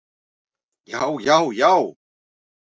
já já já!